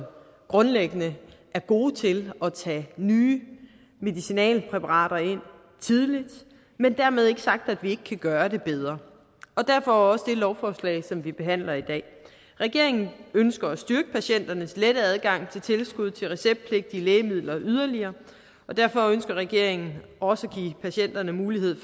grundlæggende er gode til at tage nye medicinalpræparater ind tidligt men dermed ikke sagt at vi ikke kan gøre det bedre og derfor også det lovforslag som vi behandler i dag regeringen ønsker at styrke patienternes lette adgang til tilskud til receptpligtige lægemidler yderligere og derfor ønsker regeringen også at give patienterne mulighed